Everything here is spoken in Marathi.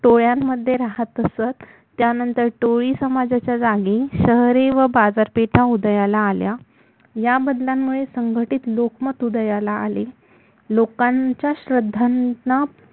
टोळ्यांमध्ये राहत असत त्यानंतर टोळी समाजाच्या जागी शहरे व बाजारपेठा उदयाला आल्या या बदलांंमुळे संघटित लोकमत उदयाला आले लोकांच्या श्रद्धांना